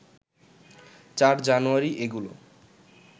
৪ জানুয়ারি এগুলো